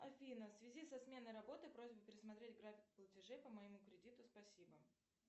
афина в связи со сменой работы просьба пересмотреть график платежей по моему кредиту спасибо